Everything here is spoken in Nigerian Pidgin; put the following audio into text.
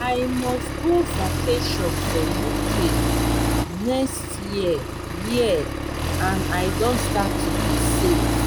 i must go vacation for uk next year year and i don start to dey save